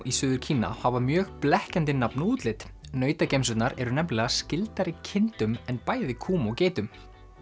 í Suður Kína hafa mjög blekkjandi nafn og útlit eru nefnilega skyldari kindum en bæði kúm og geitum